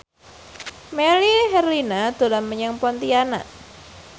Melly Herlina dolan menyang Pontianak